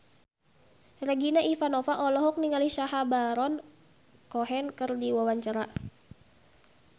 Regina Ivanova olohok ningali Sacha Baron Cohen keur diwawancara